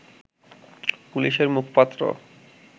পুলিশের মুখপাত্র